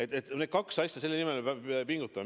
Need on kaks asja, mille nimel me pingutame.